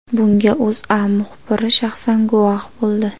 Bunga O‘zA muxbiri shaxsan guvoh bo‘ldi .